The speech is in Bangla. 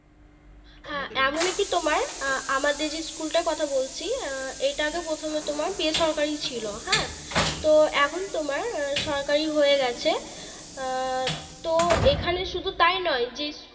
হ্যাঁ এমন একটি তোমার আ~ আমাদের School টার কথা বলছি এটা আগে প্রথমে তোমার বেসরকারি ছিল হ্যাঁ তো এখন তোমার সরকারি হয়ে গেছে আহ তো এখানে শুধু তাই নয় যে